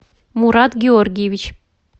мурат георгиевич